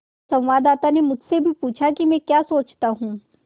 संवाददाता ने मुझसे भी पूछा कि मैं क्या सोचता हूँ